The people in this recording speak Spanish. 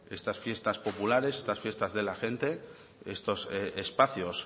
estas fiestas populares estas fiestas de la gente estos espacios